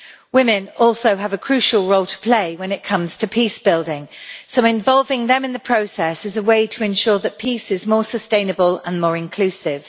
Women also have a crucial role to play when it comes to peace building, so involving them in the process is a way to ensure that peace is more sustainable and more inclusive.